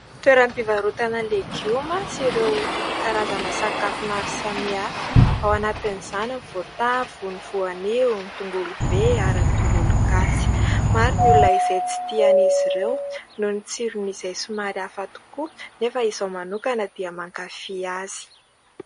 Toeram-pivarotana legioma sy ireo karazana sakafo maro samihafa ; ao anatiny izany ny voatavo, ny voanio, ny tongolo be ary ny tongolo gasy. Maro ny olona izay tsy tian'izy ireo noho ny tsirony izay somary hafa tokoa nefa izaho manokana dia mankafy azy.